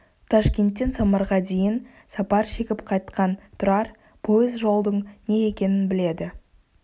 ташкенттен самарға дейін сапар шегіп қайтқан тұрар пойыз жолдың не екенін біледі